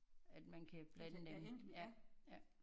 At man kan blande dem ja ja